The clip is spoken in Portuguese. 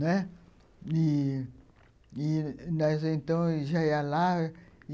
Né, ih ih nós então já ia lá.